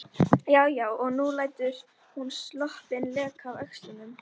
Já, já og nú lætur hún sloppinn leka af öxlunum!